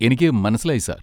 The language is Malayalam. എനിക്ക് മനസ്സിലായി സാർ.